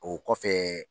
O kɔfɛ